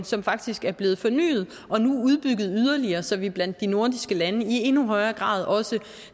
som faktisk er blevet fornyet og nu udbygget yderligere så vi blandt de nordiske lande i endnu højere grad også